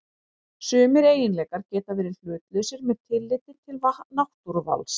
Sumir eiginleikar geta verið hlutlausir með tilliti til náttúruvals.